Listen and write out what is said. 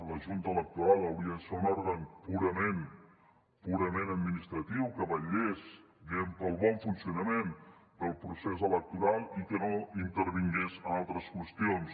la junta electoral hauria de ser un òrgan purament administratiu que vetllés pel bon funcionament del procés electoral i que no intervingués en altres qüestions